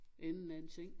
Enden af en seng